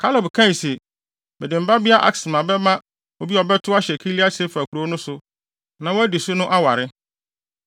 Kaleb kae se, “Mede me babea Aksa bɛma obi a ɔbɛtow ahyɛ Kiriat-Sefer kurow no so na wadi so no aware.”